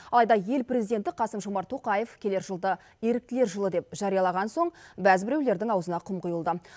алайда ел президенті қасым жомарт тоқаев келер жылды еріктілер жылы деп жариялаған соң бәз біреулердің аузына құм құйылды